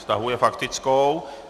Stahuje faktickou.